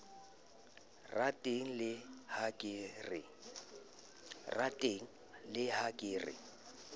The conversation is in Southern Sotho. rateng le ha ke re